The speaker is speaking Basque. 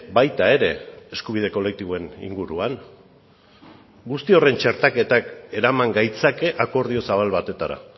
baita ere eskubide kolektiboen inguruan guzti horren txertaketak eraman gaitzake akordio zabal batetara